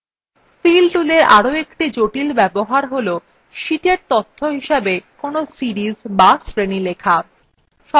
fill toolএর একটি আরো জটিল ব্যবহার tool সীটa তথ্য হিসাবে কোনো series বা শ্রেণী লেখা